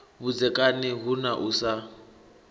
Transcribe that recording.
vhudzekani hu na u sa